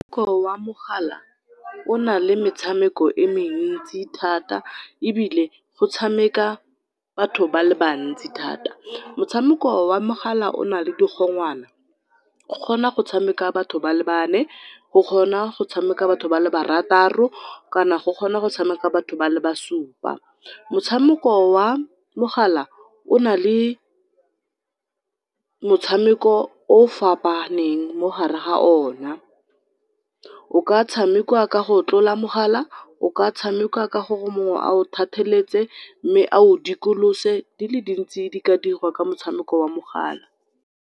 wa mogala, o na le metshameko e mentsi thata ebile go tshameka batho ba le bantsi thata. Motshameko wa mogala o na le digongwana go kgona go tshameka batho ba le bane, go kgona go tshameka batho ba le barataro, kana go kgona go tshameka batho ba le ba supa. Motshameko wa mogala o na le motshameko o fapaneng mo hare ha o na, o ka tshamekwa ka go tlola mogala, o ka tshamekwa ka gore mongwe a o thatheletse mme a o dikolose di le dintsi di ka dirwa ka motshameko wa mogala.